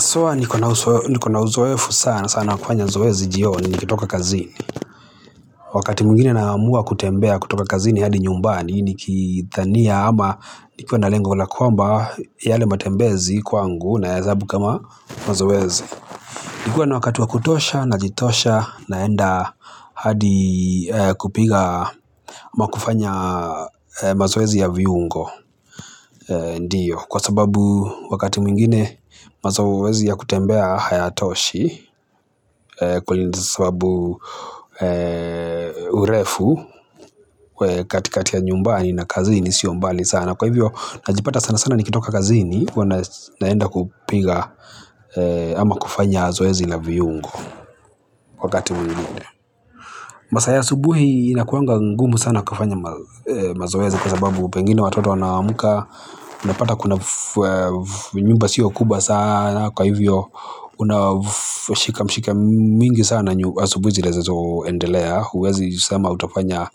So huwa niko na uzoefu sana, sana wa kufanya zoezi jioni, nikitoka kazini. Wakati mwingine naamua kutembea kutoka kazini hadi nyumbani, nikidhania ama nikiwa na lengo la kwamba yale matembezi kwangu nayahesabu kama mazoezi. Nikiwa na wakati wa kutosha najitosha naenda hadi kupiga ama kufanya mazoezi ya viungo. Ndiyo kwa sababu wakati mwingine mazoezi ya kutembea hayatoshi kwa sababu urefu katikati ya nyumbani na kazini sio mbali sana. Kwa hivyo najipata sana sana nikitoka kazini huwa naenda kupiga ama kufanya zoezi la viungo wakati mwingine. Masaa ya asubuhi inakuanga ngumu sana kufanya mazoezi kwa sababu pengine watoto wanaamka unapata kuna nyumba sio kubwa sana kwa hivyo unashika mshika mingi sana asubuhi zilizoendelea, huwezi sema utafanya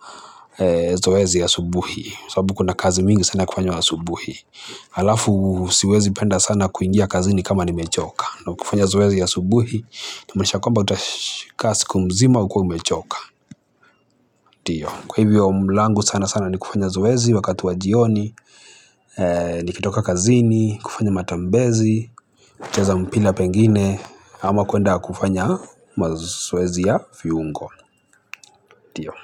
zoezi asubuhi sababu kuna kazi mingi sana kufanywa asubuhi. Alafu siwezi penda sana kuingia kazini kama nimechoka, na kufanya zoezi asubuhi inamaanisha kwamba utakaa siku mzima ukiwa umechoka. Kwa hivyo langu sana sana ni kufanya zoezi wakati wa jioni, nikitoka kazini, kufanya matambezi, kucheza mpira pengine ama kuenda kufanya mazoezi ya viungo. Ndio.